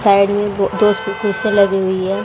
Side में दो कुर्सियां लगी हुई हैं।